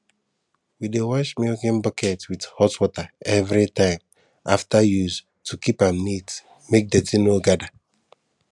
we dey wash milking bucket with hot water every time after use to keep am neat make dirty no gather